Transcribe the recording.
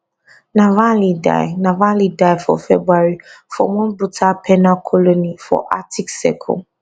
navalny die navalny die for february for one brutal penal colony for arctic circle